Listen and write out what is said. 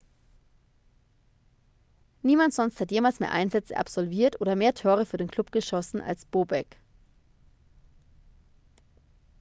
niemand sonst hat jemals mehr einsätze absolviert oder mehr tore für den club geschossen als bobek